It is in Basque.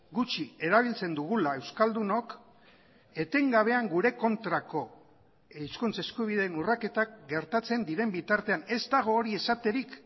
gutxi erabiltzen dugula euskaldunok etengabean gure kontrako hizkuntz eskubideen urraketak gertatzen diren bitartean ez dago hori esaterik